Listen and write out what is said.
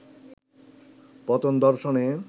পতন দর্শনে